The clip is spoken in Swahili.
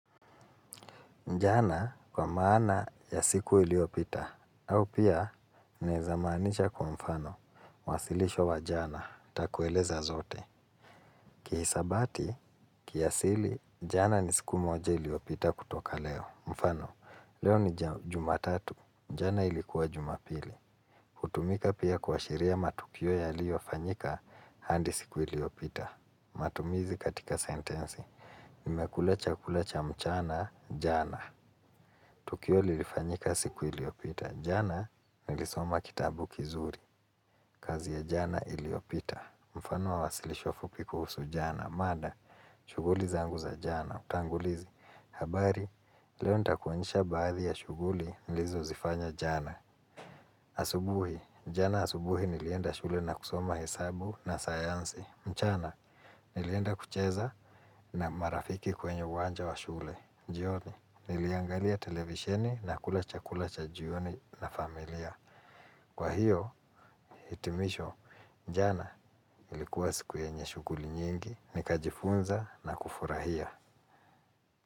Jana kwa maana ya siku iliyopita, au pia inaweza maanisha kwa mfano, wasilisho wa jana, nitakueleza zote. Kihisabati, kiasili, jana ni siku moja iliyopita kutoka leo. Mfano, leo ni jumatatu, jana ilikuwa jumapili. Kutumika pia kuashiria matukio yaliyofanyika hadi siku iliyopita. Matumizi katika sentensi. Nimekula chakula cha mchana, jana. Tukio lilifanyika siku iliyopita. Jana nilisoma kitabu kizuri. Kazi ya jana iliyopita. Mfano wa wasilisho fupi kuhusu jana. Mada, shughuli zangu za jana. Utangulizi. Habari, leo nitakuonisha baadhi ya shughuli nilizozifanya jana. Asubuhi, jana asubuhi nilienda shule na kusoma hesabu na sayansi. Mchana, nilienda kucheza na marafiki kwenye uwanja wa shule. Jioni, niliangalia televisheni na kula chakula cha jioni na familia. Kwa hiyo, hitimisho, jana ilikuwa siku yenye shughuli nyingi. Nikajifunza na kufurahia.